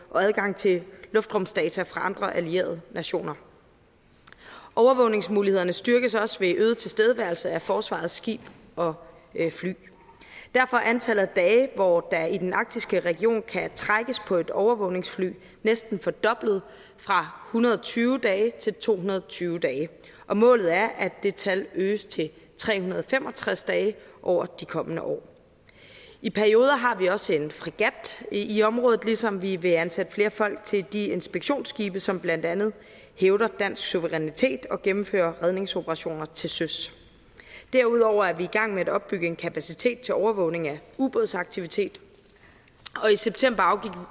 og adgang til luftrumsdata fra andre allierede nationer overvågningsmulighederne styrkes også ved øget tilstedeværelse af forsvarets skibe og fly derfor er antallet af dage hvor der i den arktiske region kan trækkes på et overvågningsfly næsten fordoblet fra hundrede og tyve dage til to hundrede og tyve dage og målet er at det tal øges til tre hundrede og fem og tres dage over de kommende år i perioder har vi også en fregat i området ligesom vi vil ansætte flere folk til de inspektionsskibe som blandt andet hævder dansk suverænitet og gennemfører redningsoperationer til søs derudover er vi i gang med at opbygge en kapacitet til overvågning af ubådsaktivitet og i september